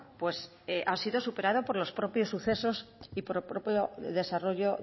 pues ha sido superado por los propios sucesos y por propio desarrollo